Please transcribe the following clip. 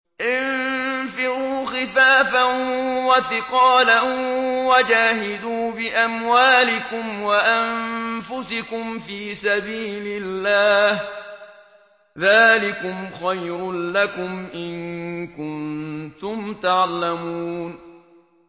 انفِرُوا خِفَافًا وَثِقَالًا وَجَاهِدُوا بِأَمْوَالِكُمْ وَأَنفُسِكُمْ فِي سَبِيلِ اللَّهِ ۚ ذَٰلِكُمْ خَيْرٌ لَّكُمْ إِن كُنتُمْ تَعْلَمُونَ